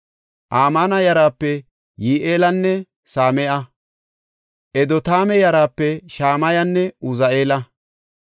Amaana yaraape Yi7eelanne Same7a. Edotaame yaraape Shamayanne Uzi7eela.